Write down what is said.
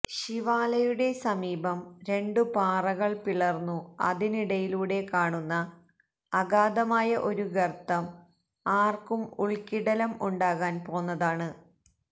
ശിവാലയുടെ സമീപം രണ്ടു പാറകള് പിളര്ന്നു അതിനിടയിലൂടെ കാണുന്ന അഗാധമായ ഒരു ഗര്ത്തം ആര്ക്കും ഉള്ക്കിടിലം ഉണ്ടാകാന് പോന്നതാണ്